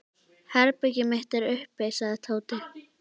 Herbergið mitt er uppi sagði Tóti.